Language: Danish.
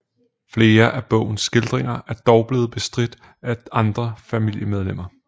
Flere af bogens skildringer er dog blevet bestridt af andre familiemedlemmer